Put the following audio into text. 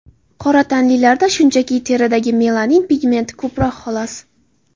Qora tanlilarda, shunchaki, teridagi melanin pigmenti ko‘proq xolos.